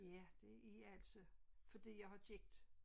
Ja det er altså fordi jeg har gigt